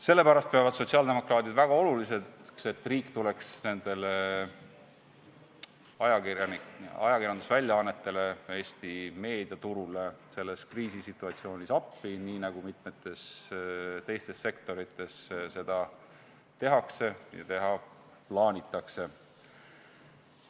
Sellepärast peavad sotsiaaldemokraadid väga oluliseks, et riik tuleks nendele ajakirjandusväljaannetele, Eesti meediaturule selles kriisisituatsioonis appi, nii nagu mitmes teises sektoris seda tehakse ja teha plaanitakse.